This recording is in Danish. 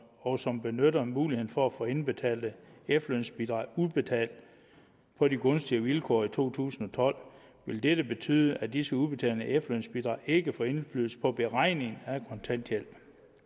og som benytter muligheden for at få indbetalte efterlønsbidrag udbetalt på de gunstigere vilkår i to tusind og tolv vil dette betyde at disse udbetalinger af efterlønsbidrag ikke får indflydelse på beregningen af kontanthjælp